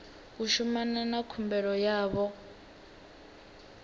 u shumana na khumbelo yavho